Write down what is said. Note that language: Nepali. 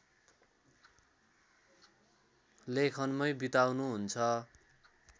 लेखनमै बिताउनुहुन्छ